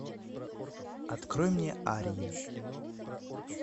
открой мне арья